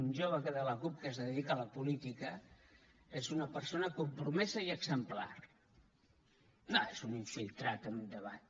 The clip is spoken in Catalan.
un jove de la cup que es dedica a la política és una persona compromesa i exemplar no és un infiltrat en un debat